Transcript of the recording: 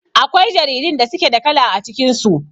Akwai jaridun da suke da kala a cikin su.